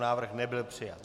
Návrh nebyl přijat.